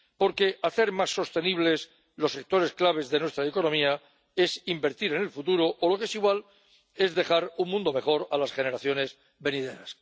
Porque hacer más sostenibles los sectores claves de nuestra economía es invertir en el futuro o, lo que es igual, es dejar un mundo mejor a las generaciones venideras.